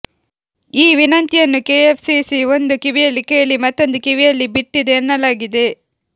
ಈ ವಿನಂತಿಯನ್ನ್ನು ಕೆಎಫ್ಸಿಸಿ ಒಂದು ಕಿವಿಯಲ್ಲಿ ಕೇಳಿ ಮತ್ತೊಂದು ಕಿವಿಯಲ್ಲಿ ಬಿಟ್ಟಿದೆ ಎನ್ನಲಾಗಿದೆ